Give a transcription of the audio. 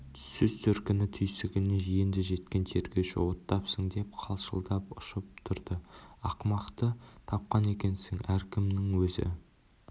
сөз төркіні түйсігіне енді жеткен тергеуші оттапсың деп қалшылдап ұшып тұрды ақымақты тапқан екенсің әркімнің өзі